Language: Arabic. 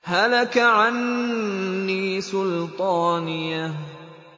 هَلَكَ عَنِّي سُلْطَانِيَهْ